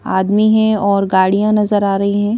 आदमी हैं और गाड़ियां नजर आ रही हैं।